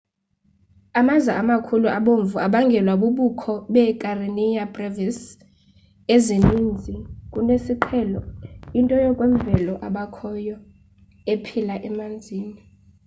amaza amakhulu abomvu abangelwa bubukho beekarenia brevis ezininzi kunesiqhelo into yokwemvelo ebakhoyo ephila emanzini